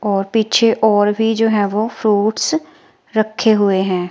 और पीछे और भी जो है वो फ्रूट्स रखे हुए हैं।